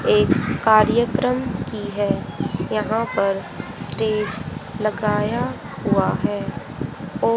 एक कार्यक्रम की है यहां पर स्टेज लगाया हुआ है।